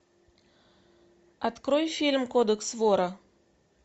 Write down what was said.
открой фильм кодекс вора